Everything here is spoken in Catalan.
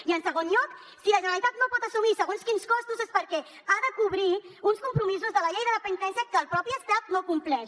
i en segon lloc si la generalitat no pot assumir segons quins costos és perquè ha de cobrir uns compromisos de la llei de dependència que el mateix estat no compleix